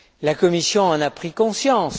La Commission en a pris conscience.